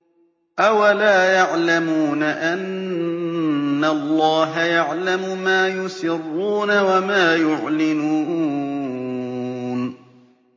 أَوَلَا يَعْلَمُونَ أَنَّ اللَّهَ يَعْلَمُ مَا يُسِرُّونَ وَمَا يُعْلِنُونَ